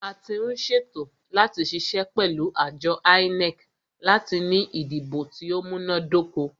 A tí ń ṣe ètò láti ṣiṣẹ́ pẹ̀lú àjọ INEC láti ní ìdìbò tí o múná dóko.